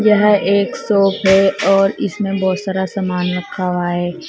यह एक शॉप है और इसमें बहुत सारा सामान रखा हुआ है।